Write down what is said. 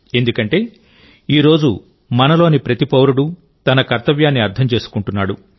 ఎందుకంటేఈ రోజు మనలోని ప్రతి పౌరుడు తన కర్తవ్యాన్ని అర్థం చేసుకుంటున్నాడు